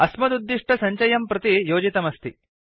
अस्मदुद्दिष्टसञ्चयं प्रति योजितमस्ति